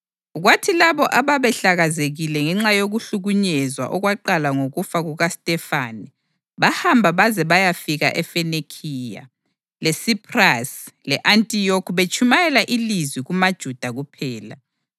Kwathi labo ababehlakazekile ngenxa yokuhlukunyezwa okwaqala ngokufa kukaStefane bahamba baze bayafika eFenikhiya, leSiphrasi le-Antiyokhi betshumayela ilizwi kumaJuda kuphela.